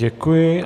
Děkuji.